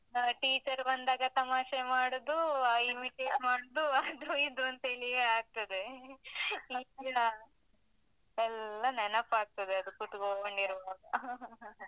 ಆ teacher ಬಂದಾಗ ತಮಾಷೆ ಮಾಡುದು, ಆ imitate ಮಾಡುದು ಅದು ಇದು ಅಂತೇಲಿಯೆ ಆಗ್ತದೆ, ಎಲ್ಲ ನೆನಪಗ್ತದೆ ಅದು ಕೂತುಕೊಂಡ್ ಇರುವಾಗ.